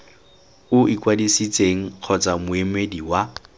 o ikwadisitseng kgotsa moemedi wa